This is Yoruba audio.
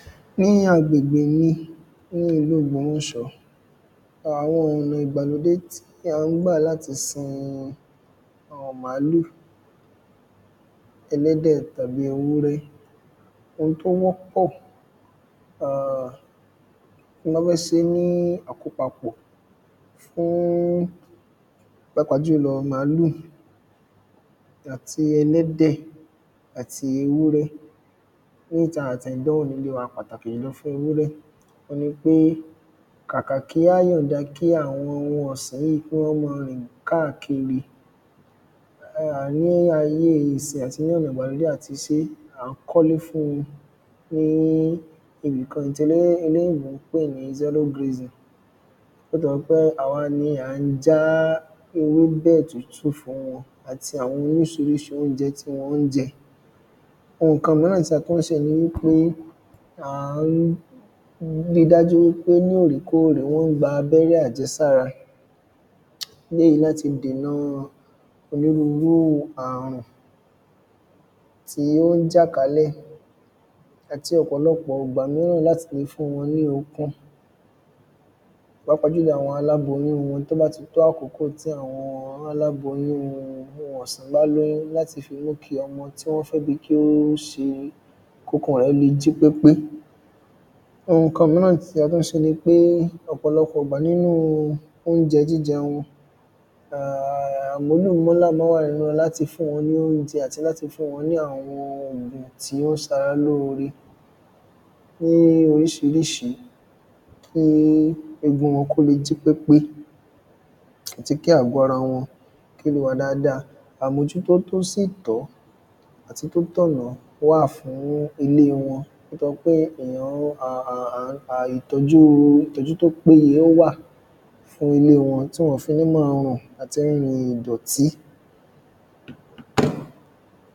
Ní agbègbè mi, ní ìlú Ògbómọ̀ṣọ́, àwọn ọ̀nà ìgbàlódé tí à ń gbà láti sin àwọn màálù, ẹlẹ́dẹ̀ tàbí ewúrẹ́ um owun tó wọ́pọ̀ um tí a ba fẹ́ ṣe ní àkópakọ̀ fún pàápàá jùlọ màálù àti ẹlẹ́dẹ̀ àti ewúrẹ́, pàtàkì jùlọ fún ewúrẹ́, òun ni pé kàkà kí á yànda, kí àwọn oun ọ̀sìn yíì, kí wọ́n ma rìn káàkiri um ni ayé ìsin yíì, àti ní ọ̀nà ìgbàlódé àti ìsin yíì, à ń kọ́ ilé fún wọn ní ibìkan tí olóyìnbó ń pè ní zero grazing, bó ti lẹ̀ jẹ́ pé à wa ni à ń já ewébẹ̀ tútù fún wọ́n àti àwọn orísirísi oúnjẹ tí wọ́n jẹ, oun ǹkan míràn tí a tún ṣe ni wípé, à ń ri dájú pé ní òrèkóòrè wọ́n gba abẹ́rẹ́ àjẹsára, léyìí láti dèna onírurúu àrùn tí ó ń jà kálẹ̀ àti ọ̀pọ̀lọpọ̀ ìgbà míràn, láti le fún wọn ní okun, pàápàá jùlọ àwọn aláboyún wọn, tó bá ti tó àkókò tí àwọn aláboyún oun ọ̀sìn bá lóyún láti fi mú kí ọmọ tí wọ́n fẹ́ bí, kí ó ṣe, kí okun rẹ̀, le jí pépé, oun ǹkan míràn tí a tún ṣe ni pé ọ̀pọ̀lọpọ̀ ìgbà nínu oúnjẹ jíjẹ wọn, um à múlò ma ń wà nínú wọn, láti fún wọ́n l'oúnjẹ àti láti fún wọn ní àwọn ògùn tí ó ṣara lóore ní orísirísi, kí egun wọn, kó le jí pépé, àti kí àgọ́ ara wọn, kí ó le wà dada, àmójútó tó sì tọ́, àti tó t’ọ̀nà, wáà fún ilé wọn, ìtọ́jú tó péye wà fún ilé wọn, tí wọn ò fi ní ma rùn àti rírin ìdọ̀tí.